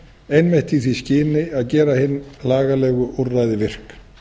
einmitt í því skyni að gera hin lagalegu úrræði virk